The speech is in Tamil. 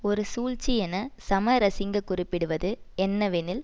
ஒரு சூழ்ச்சி என சமரசிங்க குறிப்பிடுவது என்னவெனில்